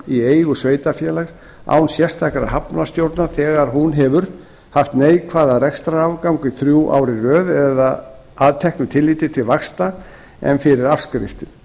í eigu sveitarfélags án sérstakrar hafnarstjórnar þegar hún hefur haft neikvæðan rekstrarafgang í þrjú ár í röð að teknu tilliti til vaxta en fyrir afskriftir